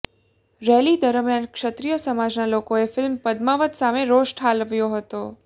rally દરમ્યાન ક્ષત્રિય સમાજના લોકોએ ફિલ્મ પદ્માવત સામે રોષ ઠાલવ્યો હતો